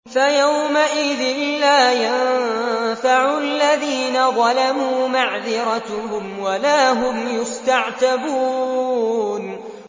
فَيَوْمَئِذٍ لَّا يَنفَعُ الَّذِينَ ظَلَمُوا مَعْذِرَتُهُمْ وَلَا هُمْ يُسْتَعْتَبُونَ